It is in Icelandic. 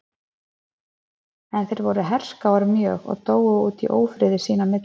en þeir voru herskáir mjög og dóu út í ófriði sín á milli